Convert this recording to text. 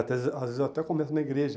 Até às vezes eu até começo na igreja.